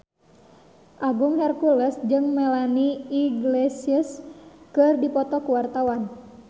Agung Hercules jeung Melanie Iglesias keur dipoto ku wartawan